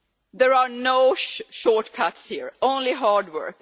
There are no shortcuts here only hard work.